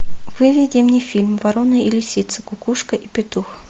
выведи мне фильм ворона и лисица кукушка и петух